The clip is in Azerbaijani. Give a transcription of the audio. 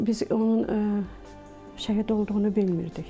Biz onun şəhid olduğunu bilmirdik.